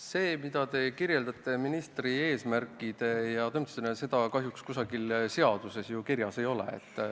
Seda, mida te kirjeldate ministri eesmärkidena, kahjuks kusagil seaduses kirjas ei ole.